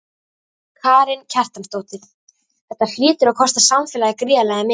Karen Kjartansdóttir: Þetta hlýtur að kosta samfélagið gríðarlega mikið?